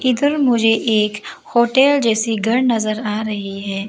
फिर मुझे एक होटल जैसी घर नजर आ रही है।